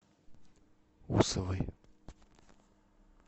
усовой